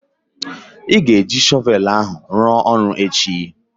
Ị ga-eji shọvelu ahụ ruo oru echi?